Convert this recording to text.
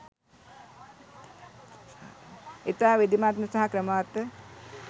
ඉතා විධිමත්ව සහ ක්‍රමවත්ව